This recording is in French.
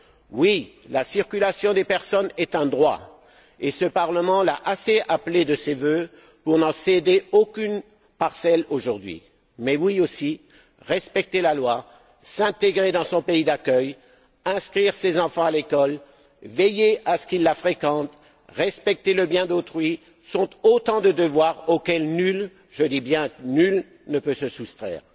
Oui, la circulation des personnes est un droit, et ce Parlement l'a assez appelée de ses vœux pour n'en céder aucune parcelle aujourd'hui. Mais oui, respecter la loi, s'intégrer dans son pays d'accueil, inscrire ses enfants à l'école, veiller à ce qu'ils la fréquentent, respecter le bien d'autrui, sont également autant de devoirs auxquels nul, je dis bien nul, ne peut se soustraire.